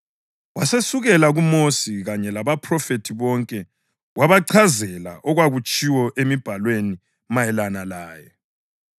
Wasesukela kuMosi kanye labaPhrofethi bonke wabachazela okwatshiwo emibhalweni mayelana laye.